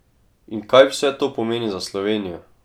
In kaj vse to pomeni za Slovenijo?